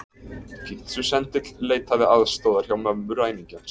Pitsusendill leitaði aðstoðar hjá mömmu ræningjans